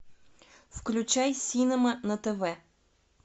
включай синема на тв